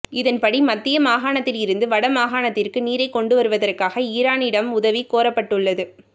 இதன்படி மத்திய மாகாணத்திலிருந்து வடமாகாணத்திற்கு நீரைக் கொண்டுவருவதற்காக ஈரானிடம் உதவி கோரப்பட்டுள்ளது